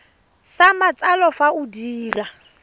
sa matsalo fa o dira